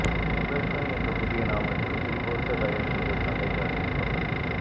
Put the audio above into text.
சுபோஷ என்ற புதிய நாமத்தில் திரிபோஷ தயாரிப்புக்கள் சந்தைக்கு அறிமுகம்